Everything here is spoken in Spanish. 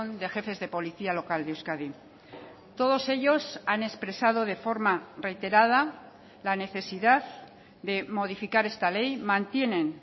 de jefes de policía local de euskadi todos ellos han expresado de forma reiterada la necesidad de modificar esta ley mantienen